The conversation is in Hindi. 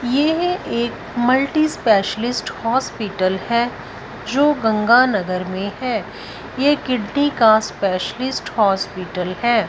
ये एक मल्टी स्पेशलिस्ट हॉस्पिटल है जो गंगा नगर में है ये किडनी का स्पेशलिस्ट हॉस्पिटल है।